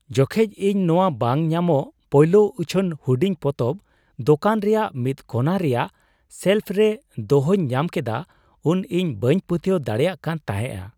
ᱡᱚᱠᱷᱮᱡ ᱤᱧ ᱱᱚᱣᱟ ᱵᱟᱝ ᱧᱟᱢᱚᱜ ᱯᱳᱭᱞᱳ ᱩᱪᱷᱟᱹᱱ ᱦᱩᱰᱤᱧ ᱯᱚᱛᱚᱵ ᱫᱳᱠᱟᱱ ᱨᱮᱭᱟᱜ ᱢᱤᱫ ᱠᱚᱱᱟ ᱨᱮᱭᱟᱜ ᱥᱮᱞᱯᱷ ᱨᱮ ᱫᱚᱦᱚᱧ ᱧᱟᱢ ᱠᱮᱫᱟ ᱩᱱ ᱤᱧ ᱵᱟᱹᱧ ᱯᱟᱹᱛᱭᱟᱹᱣ ᱫᱟᱲᱮᱭᱟᱜ ᱠᱟᱱ ᱛᱟᱦᱮᱸᱜ ᱾